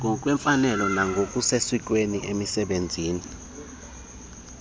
ngokwemfanelo nangokusesikweni esebenzisa